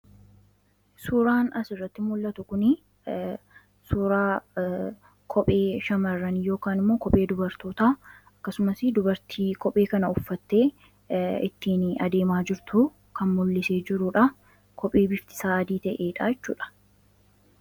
Suuraan as irratti mul'atu kun suuraa kophee shamarran yookan immoo kophee dubartoota akkasumas dubartii kophee kana uffatte ittiin adeemaa jirtuu kan mul'isee jiruudha. Kophee biftii isaa adii ta'edhaa jechuudha.